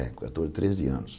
É, quator, treze anos.